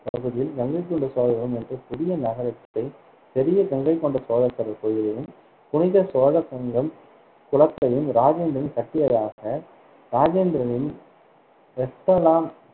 பகுதியில் கங்கைகொண்ட சோழபுரம் என்ற புதிய நகரத்தை பெரிய கங்கை கொண்ட சோழேஸ்வரர் கோவிலும் புனித சோழகங்கம் குளத்தையும் ராஜேந்திரன் கட்டியதாக ராஜேந்திரனின்